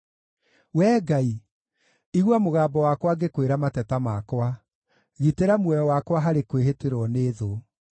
Wee Ngai, igua mũgambo wakwa ngĩkwĩra mateta makwa; gitĩra muoyo wakwa harĩ kwĩhĩtĩrwo nĩ thũ.